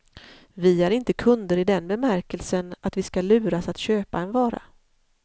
Vi är inte kunder i den bemärkelsen att vi ska luras att köpa en vara.